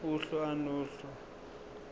uhlu a nohlu